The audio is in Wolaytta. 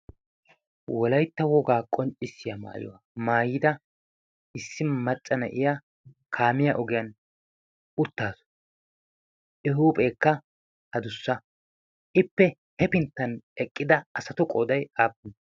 wolaytta wogaa qonccissiyaa maayuwaa maayida issi macca na'iya kaamiya ogiyan uttaasu huuhpheekka ha dussa ippe hefinttan eqqida asatu qooday aappune